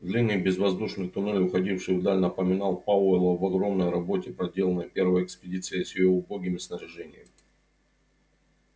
длинный безвоздушный туннель уходивший вдаль напомнил пауэллу об огромной работе проделанной первой экспедицией с её убогим снаряжением